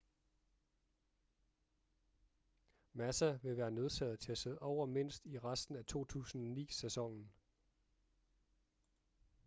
massa vil være nødsaget til at sidde over mindst i resten af 2009-sæsonen